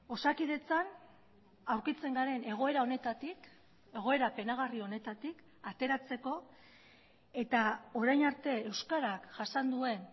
osakidetzan aurkitzen garen egoera honetatik egoera penagarri honetatik ateratzeko eta orain arte euskarak jasan duen